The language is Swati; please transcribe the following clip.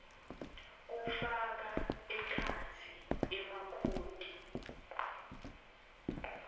kufaka ekhatsi emakhodi